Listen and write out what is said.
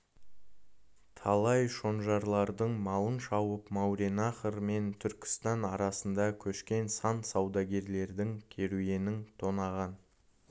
талай шонжарлардың малын шауып мауреннахр мен түркістан арасында көшкен сан саудагерлердің керуенін тонаған